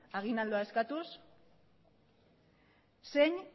eskatuz